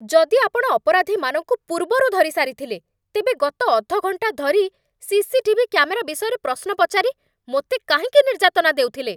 ଯଦି ଆପଣ ଅପରାଧୀମାନଙ୍କୁ ପୂର୍ବରୁ ଧରି ସାରିଥିଲେ, ତେବେ ଗତ ଅଧ ଘଣ୍ଟା ଧରି ସିସିଟିଭି କ୍ୟାମେରା ବିଷୟରେ ପ୍ରଶ୍ନ ପଚାରି ମୋତେ କାହିଁକି ନିର୍ଯ୍ୟାତନା ଦେଉଥିଲେ?